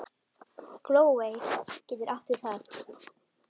Glóey getur átt við